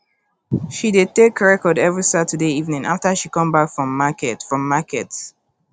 she dey take record every saturday evening after she come back from market from market